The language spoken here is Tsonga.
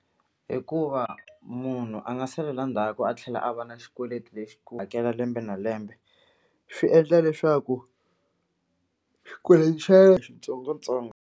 Hikuva munhu a nga salela ndzhaku a tlhela a va na xikweleti lexi ku hakela lembe na lembe swi endla leswaku xikweleti xa yena xitsongotsongo.